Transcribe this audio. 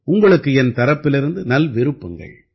உங்களுக்கு என் தரப்பிலிருந்து நல்விருப்பங்கள்